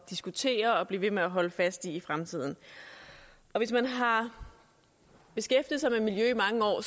diskutere og blive ved med at holde fast i i fremtiden hvis man har beskæftiget sig med miljø i mange år